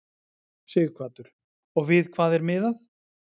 Sighvatur: Og við hvað er miðað?